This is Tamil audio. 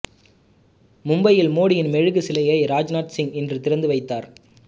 மும்பையில் மோடியின் மெழுகுச் சிலையை ராஜ்நாத் சிங் இன்று திறந்து வைத்தார்